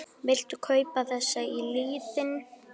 Viltu kippa þessu í liðinn?